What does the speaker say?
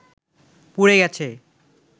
পুড়ে গেছে